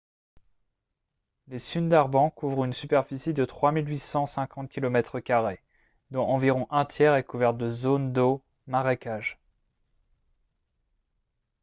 les sundarbans couvrent une superficie de 3 850 km² dont environ un tiers est couvert de zones d’eau/marécages